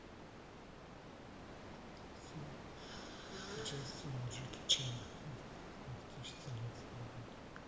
фильм с участием джеки чана две тысячи семнадцатого года